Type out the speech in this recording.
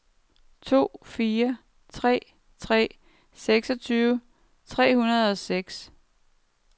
to fire tre tre seksogtyve seks hundrede og seks